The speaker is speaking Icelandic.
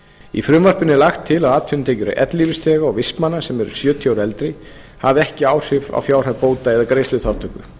í frumvarpinu er lagt til að atvinnutekjur ellilífeyrisþega og vistmanna sem eru sjötíu ára eða eldri hafi ekki áhrif á fjárhæð bóta eða greiðsluþátttöku